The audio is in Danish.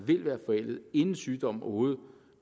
vil være forældet inden sygdommen overhovedet